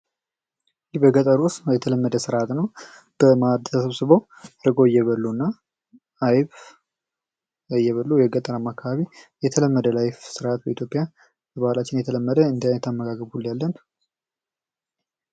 ይህ በገጠሩ ውስጥ የተለመደ ስርዓት ነው። በማደ ሰብስበው ርጎ እየበሉ እና አይብ እየበሉ የገጠረማ አካባቢ የተለመደ ላይፍ ስርዓት በኢትዮጵያ በባህላችን የተለመደ ነው።